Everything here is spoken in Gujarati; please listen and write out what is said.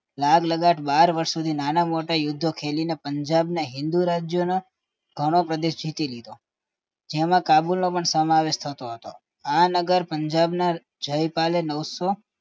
લાગ લગળ બાર વર્ષ સુધી નાના મોટા યુદ્ધ ખેલીને પંજાબનો હિંદુ રાજ્ય ઘણો પ્રદેશ જીતી લીધો એમાં કાબુલ નો પણ સમાવેશ થતો હતો